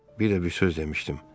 Bir də bir söz demişdim.